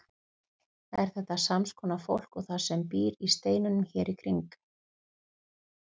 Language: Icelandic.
Er þetta sams konar fólk og það sem býr í steinunum hér í kring?